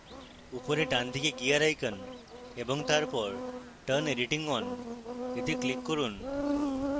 উপরে ডানদিকে gear icon এবং তারপর turn editing on এ click করুন